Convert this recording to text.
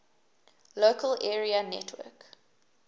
local area network